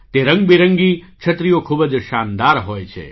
તે રંગબેરંગી છત્રીઓ ખૂબ જ શાનદાર હોય છે